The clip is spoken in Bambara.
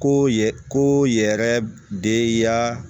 Ko ye ko yɛrɛ de ye ya